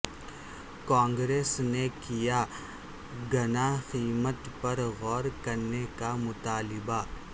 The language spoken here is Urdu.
کانگریس نے کیا گنا قیمت پر غور کرنے کا مطالبہ